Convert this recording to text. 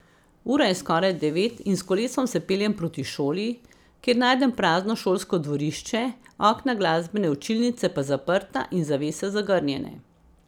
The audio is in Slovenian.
Ura je skoraj devet in s kolesom se peljem proti šoli, kjer najdem prazno šolsko dvorišče, okna glasbene učilnice pa zaprta in zavese zagrnjene.